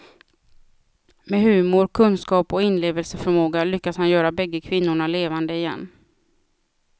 Med humor, kunskap och inlevelseförmåga lyckas han göra bägge kvinnorna levande igen.